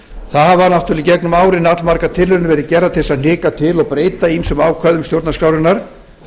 það hafa í gegnum árin allmargar tilraunir verið gerðar til að hnika til og breyta ýmsum ákvæðum stjórnarskrárinnar